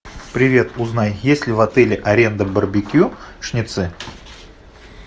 привет узнай есть ли в отеле аренда барбекюшницы